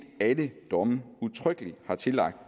alle domme udtrykkeligt har tillagt